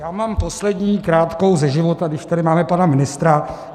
Já mám poslední krátkou ze života, když tady máme pana ministra.